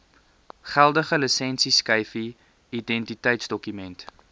geldige lisensieskyfie identiteitsdokument